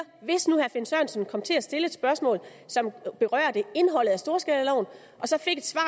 hvis nu herre finn sørensen kom til at stille et spørgsmål som berørte indholdet af storskalaloven og så fik et svar